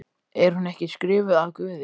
Er hún ekki skrifuð af Guði?